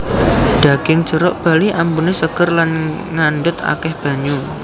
Daging jeruk bali ambune seger Lan ngandhut akeh banyu